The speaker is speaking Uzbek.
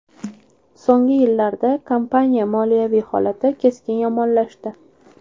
So‘nggi yillarda kompaniya moliyaviy holati keskin yomonlashdi.